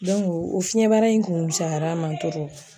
Dɔnku o fiɲɛ bara in kun fusayar'a ma toro